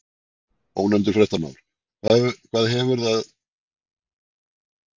Ónefndur fréttamaður: Hvað heldurðu að þið séuð búin að selja marga bíla?